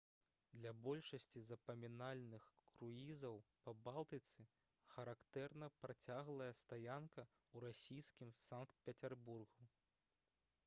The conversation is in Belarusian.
для большасці запамінальных круізаў па балтыцы характэрна працяглая стаянка ў расійскім санкт-пецярбургу